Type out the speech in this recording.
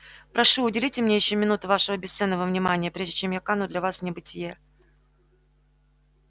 прошу уделите мне ещё минуту вашего бесценного внимания прежде чем я кану для вас в небытие